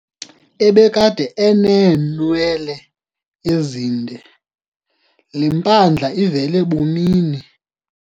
Ebekade eneenwele ezinde, le mpandla ivele bumini.